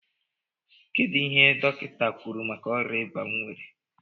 kedụ ihe dọkinta kwụrụ maka ọria ịba m nwere?